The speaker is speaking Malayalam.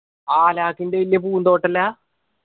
ആ അലാക്കിന്റെ വെല്യ പൂന്തോട്ടല്ലാ